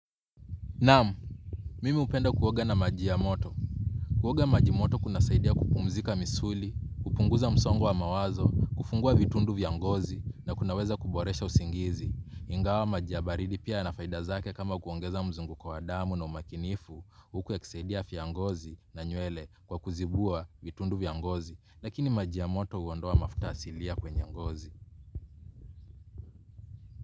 Naam, mimi hupenda kuoga na maji ya moto. Kuoga maji moto kunasaidia kupumzika misuli, kupunguza msongo wa mawazo, kufungua vitundu vya ngozi na kunaweza kuboresha usingizi. Ingawa maji ya baridi pia yana faida zake kama kuongeza mzunguko wa damu na umakinifu, huku yakisaidia afya ya ngozi na nywele kwa kuzibua vitundu vya ngozi. Lakini maji ya moto huondoa mafuta asilia kwenye ngozi.